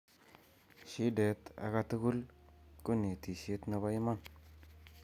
shidet ak a tukul ko netishiet nebo iman